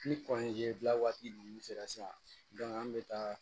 Ni kɔnze dilan waati ninnu sera sisan an bɛ taa